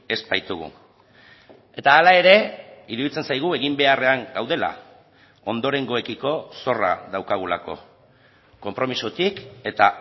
ez baitugu eta hala ere iruditzen zaigu egin beharrean gaudela ondorengoekiko zorra daukagulako konpromisotik eta